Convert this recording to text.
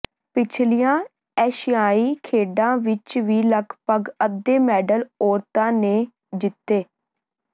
ਪਿਛਲੀਆਂ ਏਸ਼ੀਆਈ ਖੇਡਾਂ ਵਿੱਚ ਵੀ ਲਗਭਗ ਅੱਧੇ ਮੈਡਲ ਔਰਤਾਂ ਨੇ ਜਿੱਤੇ